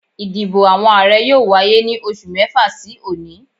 Ìdìbò àwọn Ààrẹ yóò wáyé ní oṣù mẹ́fà sí òní